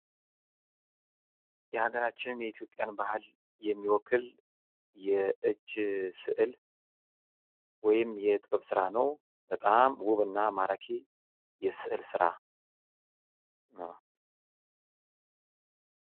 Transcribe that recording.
የሃገራችን የኢትዮጵያን ባህል የሚወክ የእጅ ስእል ወይም የጥበብ ስራ ነው። በጣም ዉብ እና ማራኪ የስዕል ስራ ነው።